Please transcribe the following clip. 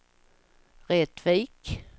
Rättvik